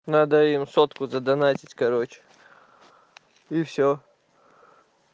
надо им сотку задонатить короче и все